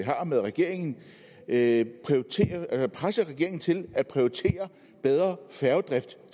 har med regeringen at at presse regeringen til at prioritere bedre færgedrift